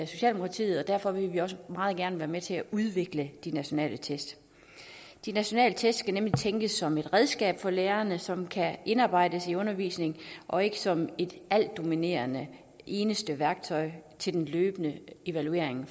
socialdemokratiet og derfor vil vi også meget gerne være med til at udvikle de nationale test de nationale test skal nemlig tænkes som et redskab for lærerne som kan indarbejdes i undervisningen og ikke som et altdominerende og eneste værktøj til den løbende evaluering